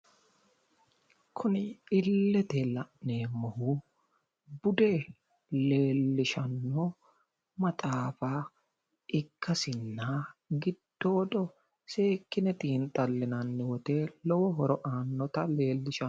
Kuni illete la'neemmohu leellishanno maxaafa ikkasinna gidooddo seekkine xiinxxallinanni wote lowo horo aannota leellishanno.